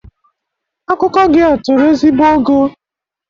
Akụkọ gị a toro ezigbo ogo